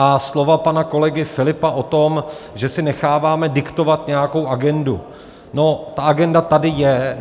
A slova pana kolegy Filipa o tom, že si necháváme diktovat nějakou agendu: no, ta agenda tady je.